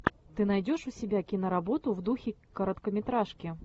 ты найдешь у себя киноработу в духе короткометражки